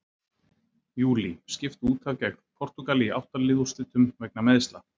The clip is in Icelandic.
Júlí: Skipt útaf gegn Portúgal í átta lið úrslitum vegna meiðsla.